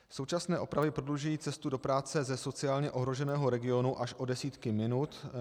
Současné opravy prodlužují cestu do práce ze sociálně ohroženého regionu až o desítky minut.